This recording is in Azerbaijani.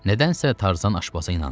Nədənsə Tarzan aşpaza inandı.